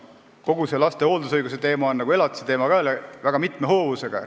Kogu see laste hooldusõiguse teema nagu ka elatise teema on väga mitme hoovusega.